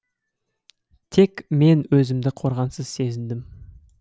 тек мен өзімді қорғансыз сезіндім